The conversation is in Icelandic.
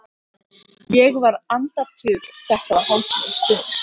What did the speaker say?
Ég var andaktugur, þetta var hátíðleg stund.